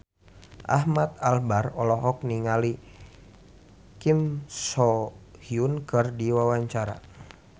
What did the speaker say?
Ahmad Albar olohok ningali Kim So Hyun keur diwawancara